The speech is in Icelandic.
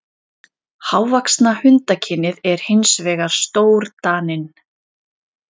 Hávaxnasta hundakynið er hins vegar stórdaninn.